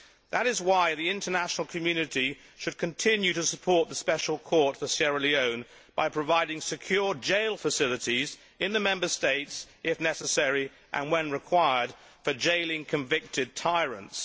That is why the international community should continue to support the Special Court for Sierra Leone by providing secure jail facilities in the Member States, if necessary and when required, for jailing convicted tyrants.